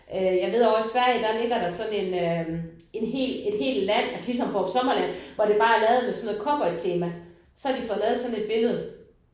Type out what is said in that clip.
Øh jeg ved ovre i Sverige der ligger der sådan en øh en hel et helt land altså ligesom Fårup Sommerland hvor det bare er lavet med sådan noget cowboytema så har de fået lavet sådan et billede